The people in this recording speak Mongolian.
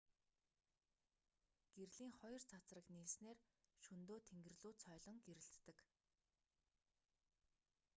гэрлийн хоёр цацраг нийлснээр шөнөдөө тэнгэр лүү цойлон гэрэлтдэг